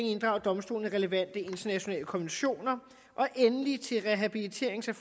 inddrager domstolene relevante internationale konventioner og endelig til rehabiliterings og